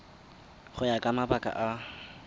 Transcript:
go ya ka mabaka a